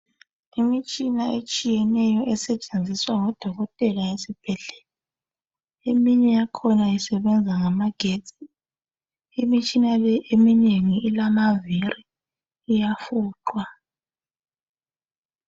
Imitshina etshiyeneyo esetshenziswa ngodokotela esibhedlela, eminye yakhona isebenza ngama getsi ,imitshina leyi eminengi ilamaviri iyafuqwa.